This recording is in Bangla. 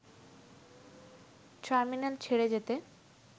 টার্মিনাল ছেড়ে যেতে